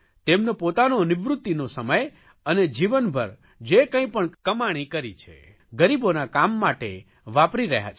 તેમનો પોતાનો નિવૃત્તિનો સમય અને જીવનભર જે કંઇ પણ કમાણી કરે છે ગરીબોના કામ માટે વાપરી રહ્યા છે